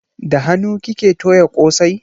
Da hanu kike toya kosai?